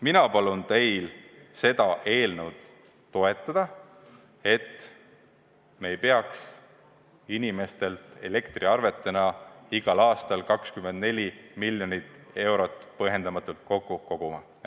Mina palun teil seda eelnõu toetada, et me ei peaks inimestelt elektriarvetena igal aastal 24 miljonit eurot põhjendamatult kokku koguma.